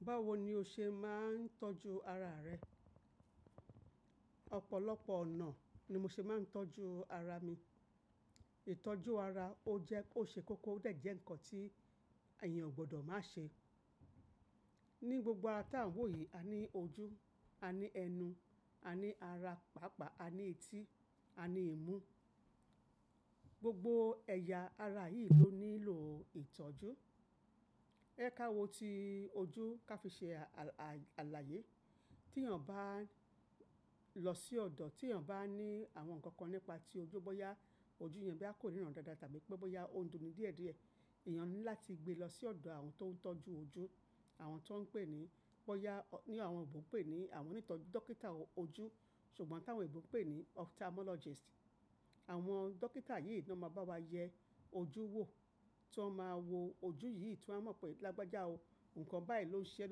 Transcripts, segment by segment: Báwo ni o ṣe máa ń tọ́jú ara rẹ? Ọ̀pọ̀lọpọ̀ ọ̀nà ni mo ṣe máa ń tọ́jú ara mi. Ìtọ́jú ara o jẹ́, o ṣe kókó o dẹ̀ jẹ́ ǹkan tí èèyàn ò gbọdọ̀ má ṣe. Ni gbogbo ara tàn wò yìí, a ní ojú, a ní ẹnu, a ní ara pàápàá, a ní etí, a ní ìmú. Gbogbo ẹ̀yà ara yìí ló nílò ìtọ́jú. Ẹ je ká wo ti ojú ka fi ṣe alààyè. Tí èèyàn bá lọ sí ọ̀dọ̀, tí èèyàn bá ní àwọn nǹkan kan nípa ti ojú bóyá ojú yẹn boyá kó rìran dáadáa tàbí pé bóyá ó ń dùn ni díẹ̀díẹ̀, èèyàn ní láti gbe lọ sí ọ̀dọ̀ àwọn tó ń tọ́jú ojú. Àwọn tó ń pè ní, bóyá ní àwọn oyinbo ń pè ní àwọn onítọ́jú dókítà ojú, ṣùgbọ́n táwọn oyinbo ń pè ní ophthalmologist. Àwọn dókítà yìí náà máa bá wa yẹ ojú wò. Tí wọ́n máa wo ojú yìí, tí wọ́n mọ̀ pé lágbájá o, nǹkan báyìí ló ń ṣe ẹ́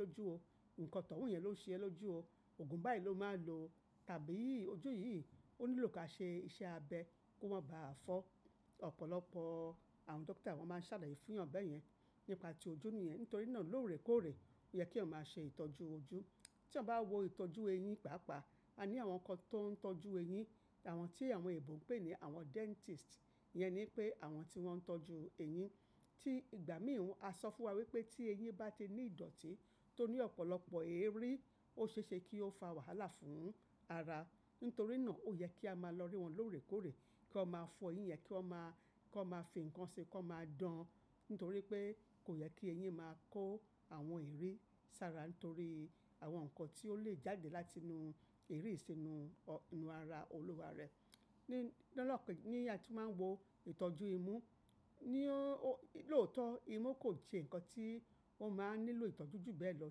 lójú o, nǹkan toun yẹn ló ń ṣe ẹ́ lójú o, ògùn báyìí ló máa lò o tàbí ojú yìí ó nílò ká ṣe iṣẹ́ abẹ́ ko máa bàá fọ́. Ọ̀pọ̀lọpọ̀ àwọn dókítà wọ́n máa ń ṣàlàyé fúnyan bẹyẹn nípa ti ojú nìyẹn. Nítorí náà lóòrèkóòrè ó yẹ kí èèyàn máa ṣe ìtọ́jú ojú. Tíyan bá wo ìtọ́jú eyín pàapàá, a ní àwọn kan tó ń tọ́jú eyín. Àwọn tí àwọn oyinbo ń pè ní àwọn dentist, iyẹn ni pé àwọn tí wọ́n ń tọ́jú eyín. Tí ìgbà míì hún, a sọ fún wa wípé tí eyín bá ti ní ìdọ̀tí tó ní ọ̀pọ̀lọpọ̀ eérí, ó ṣeéṣe kí ó fa wàhálà fún ara. Nítorí náà ó yẹ kí a máa lọ rí wọn lóòrèkóòrè kí wọ́n máa fọ eyín yen, kí wọ́n máa, kí wọ́n máa fi ǹkan ṣi, kí wọ́n máa dán. Nítorí pé kò yẹ kí eyín máa kó àwọn eerí sára nítorí àwọn nǹkan tí ó lè jáde láti inú eerí sì inú, inú ara olúwa rẹ̀. Ni lọ́pọ̀, ní a tun máa ń wo ìtọ́jú imú, ní ó, lóòótọ́ imú kò sẹ́ ǹkan tí ó máa ń nílò ìtọ́jú jù bẹ́ẹ̀ lọ.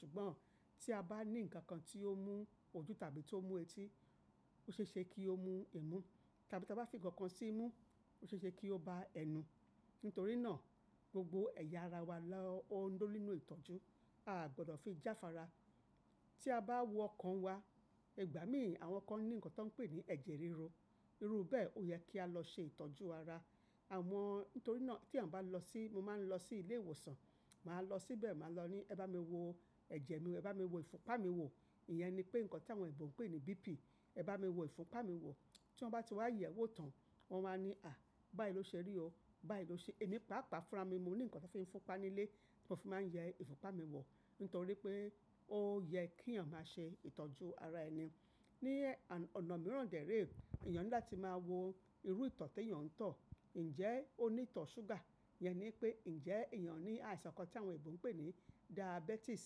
Ṣùgbọ́n tí a bá ní nǹkan kan tí ó mú ojú tàbí tó mú etí, ó ṣeéṣe kí ó mú imú. Tàbí tí a bá fi ǹkan kan sí imú, ó ṣeéṣe kí ó bá ẹnu. Nítorí náà gbogbo ẹ̀yà ara wa ló ń nílò ìtọ́jú. A a gbọdọ̀ fi jáfara. Tí a bá wọ ọkan wa, ìgbà míì àwọn kan ní ǹkan tí wọ́n ń pè ní ẹ̀jẹ̀ ríru. Iru bẹ́ẹ̀ ó yẹ kí a lọ ṣe ìtọ́jú ara. Àwọn, nítorí náà tí èèyàn bá lọ sí, mo máa ń lọ sí ilé ìwòsàn, màá lọ síbẹ̀, màá lọ ní "Ẹ bá mi wo ẹ̀jẹ̀ mi wo, ẹ bá mi wo ìfunpá mi wo." Ìyẹn ni pé ǹkan tí àwọn òyinbo ń pè ní BP. "Ẹ bá mi wo ìfupá mi wo." Tí wọ́n bá ti wá yẹ̀ e wò tán, wọ́n wa ní, "À, báyìí ló ṣe rí o, báyìí ló ṣe." Èmi pàápàá funra mi mo ní ǹkan tí wọ́n fi ń funpá nílé tí mo fi máa ń yẹ ìfunpá mi wọ̀. Nítorí pé ó yẹ kí èèyàn máa ṣe ìtọ́jú ara ẹni. Ni ọ̀nà mìíràn dẹ̀ rẹ́, èèyàn ní láti máa wo irú ìtọ̀ tí èèyàn ń tọ̀. Ǹjẹ́ ó ní ìtọ̀ ṣúgà? Yẹn ni pé ǹjẹ́ èèyàn ní àìsàn kan tí àwọn òbí ń pè ní diabetes?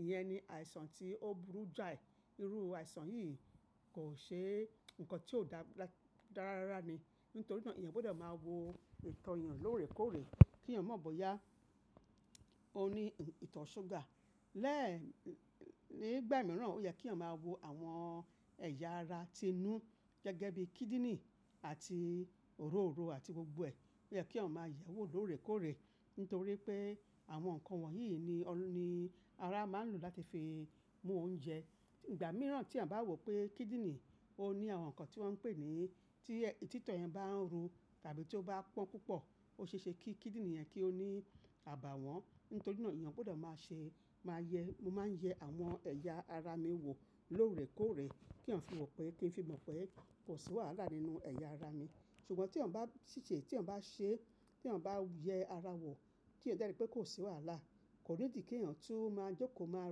Ìyẹn ni àìsàn tí ó burú jáì. Irú àìsàn yìí kò ṣe ǹkan tí ó da dára rárá ni. Nítorí náà èèyàn gbọdọ̀ máa wo ìtọ̀ èèyàn lóòrèkóòrè kí èèyàn mo bóyá ó ní ìtọ̀ ṣúgà. Lẹ́ẹ̀, nígbà mìíràn ó yẹ kí èèyàn máa wo àwọn ẹ̀yà ara ti inú gẹ́gẹ́ bí kidney àti òróóro àti gbogbo ẹ. Ó yẹ kí èèyàn máa yẹ̀ ẹ́ wò lóòrèkóòrè. Nítorí pé àwọn nǹkan wọ̀nyí ni, ni ara máa ń lò láti fi mú oúnjẹ. Ìgbà mìíràn tí èèyàn bá wò pé kidney ó ní àwọn nǹkan tí wọ́n ń pè ní, tí títọ yẹn bá ń ru tàbí tí ó bá pọ́n púpọ̀, óṣeéṣe kí kidney yẹn kí ó ní àbàwọ́n. Nítorí náà èèyàn gbudọ̀ máa ṣe, máa yẹ, mo máa ń yẹ àwọn ẹ̀yà ara mi wò lóòrèkóòrè kíyan fi mọ̀ pé, kí n fi mọ̀ pé kò sí wàhálà nínú ẹ̀yà ara mi. Ṣùgbọ́n tí èèyàn bá ṣìṣe, tí èèyàn bá ṣe, tí èèyàn bá yẹ ara wò keeyan de ri pé kò sí wàhálà, kò need pé kèèyàn tun máa jókòó máa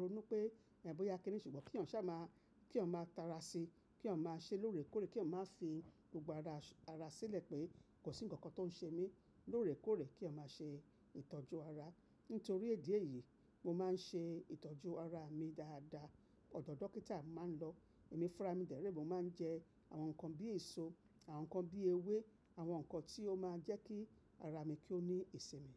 ronú pé ẹ̀ ń bóyá kíni. Ṣùgbọ́n kí èèyàn ṣa máa, kí èèyàn máa tara síi, kí èèyàn máa ṣe lóòrèkóòrè, kí èèyàn máa fi gbogbo ara, ara sílẹ̀ pé kò sí ǹkan kan tó ń ṣe mí lóòrèkóòrè kí èèyàn máa ṣe ìtọ́jú ara. Nítorí idi eyí mo máa ń ṣe ìtọ́jú ara mi dáadáa. Ọ̀dọ̀ dókítà máa ń lọ. Èmi funra mi dẹ̀ rẹ́, mo máa ń jẹ àwọn nǹkan bíi èso, àwọn nǹkan bíi ewé, àwọn nǹkan tí ó máa jẹ́ kí ara mi kí ó ní ìsinmi.